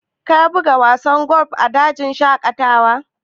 Ka buga wasan golf a dajin shaƙatawa?